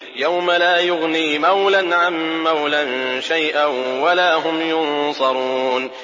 يَوْمَ لَا يُغْنِي مَوْلًى عَن مَّوْلًى شَيْئًا وَلَا هُمْ يُنصَرُونَ